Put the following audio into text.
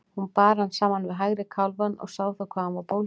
Hún bar hann saman við hægri kálfann og sá þá hvað hann var bólginn.